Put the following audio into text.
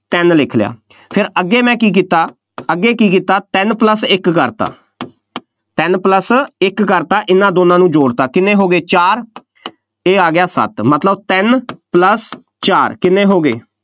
ਤਿੰਂਨ ਲਿਖ ਲਿਆ, ਫੇਰ ਅੱਗੇ ਮੈਂ ਕੀ ਕੀਤਾ, ਅੱਗੇ ਕੀ ਕੀਤਾ, ਤਿੰਨ plus ਇੱਕ ਕਰਤਾ ਤਿੰਨ plus ਇੱਕ ਕਰਤਾ, ਇਹਨਾ ਦੋਨਾਂ ਨੂੰ ਜੋੜਤਾ, ਕਿੰਨੇ ਹੋ ਗਏ, ਚਾਰ, ਇਹ ਆ ਗਿਆ ਸੱਤ, ਮਤਲਬ ਤਿੰਨ plus ਚਾਰ ਕਿੰਨੇ ਹੋ ਗਏ,